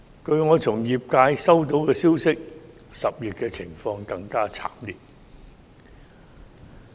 據我從業界收到的消息 ，10 月的情況會更加慘烈。